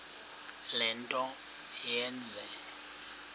le nto yenze